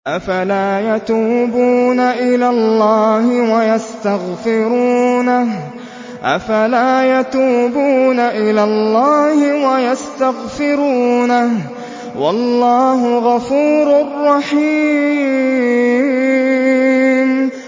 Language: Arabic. أَفَلَا يَتُوبُونَ إِلَى اللَّهِ وَيَسْتَغْفِرُونَهُ ۚ وَاللَّهُ غَفُورٌ رَّحِيمٌ